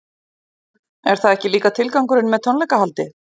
Er það ekki líka tilgangurinn með tónleikahaldi?